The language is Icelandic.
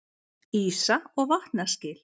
Ísa- og vatnaskil.